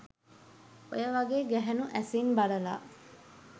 ඔය වගේ ගැහැනු ඇසින් බලලා